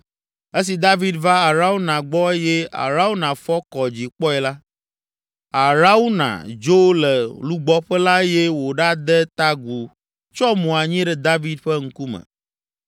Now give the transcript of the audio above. Esi David va Arauna gbɔ eye Arauna fɔ kɔ dzi kpɔe la, Arauna dzo le lugbɔƒe la eye wòɖade ta agu tsyɔ mo anyi ɖe David ƒe ŋkume.